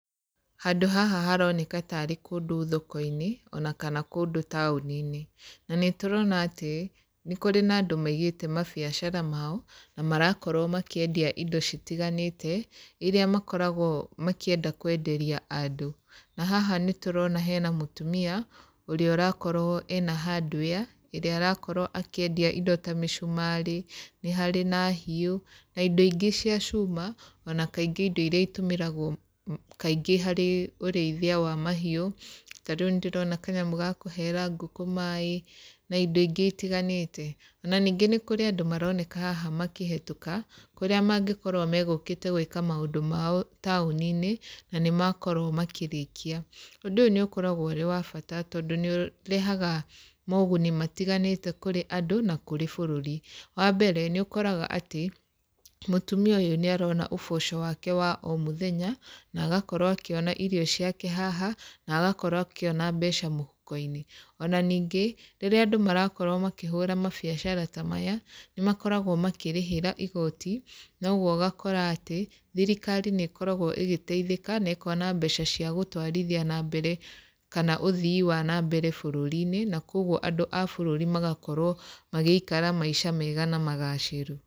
Handũ haha haroneka tarĩ kũndũ thoko-inĩ, ona kana kũndũ taũni-inĩ, na nĩ tũrona atĩ, nĩ kũrĩ na andũ maigĩte mabiacara mao, na marakorwo makĩendia indo citiganĩte, iria makoragwo makĩenda kwenderia andũ. Na haha nĩ tũrona hena mũtumia, ũrĩa ũrakorwo ena hardware, ĩrĩa arakorwo akĩendia indo ta mĩcumarĩ, nĩ harĩ na hiũ, na indo ingĩ cia cuma, ona kaingĩ indo iria itũmiragwo kaingĩ harĩ ũrĩithia wa mahiũ, ta rĩu nĩ ndĩrona kanyamũ ga kũheera ngũkũ maĩ na indo ingĩ itiganĩte, ona ningĩ nĩ kũrĩ andũ maroneka haha makĩhĩtũka, kũrĩa mangĩkorwo magũkĩte gwĩka maũndũ mao taũni-inĩ, na nĩ makorwo makĩrĩkia. Ũndũ ũyũ nĩ ũkoragwo ũrĩ wa bata tondũ nĩ ũrehaga moguni matiganĩte kũrĩ andũ na kũrĩ bũrũri, wambere nĩ ũkoraga atĩ, mũtumia ũyũ nĩ arona ũboco wake wa o mũthenya, na agakorwo akĩona irio ciake haha, na agakorwo akĩona mbeca mũhuko-inĩ. Ona ningĩ, rĩrĩa andũ marakorwo makĩhũra mabiacara ta maya, nĩ makoragwo makĩrĩhĩra igoti, na ũguo ũgakora atĩ, thirikari nĩ ĩkoragwo ĩgĩteithĩka na ĩkona mbeca cia gũtwarithia nambere kana ũthii wa nambere bũrũri-inĩ, na koguo andũ a bũrũri magakorwo magĩikara maica mega na magacĩru.